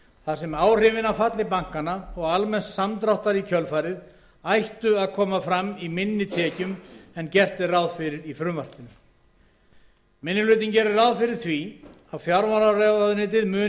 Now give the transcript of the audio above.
þar sem áhrifin af falli bankanna og almenns samdráttar í kjölfarið ættu að koma fram í minni tekjum en gert er ráð fyrir í frumvarpinu minni hlutinn gerir ráð fyrir því að fjármálaráðuneytið muni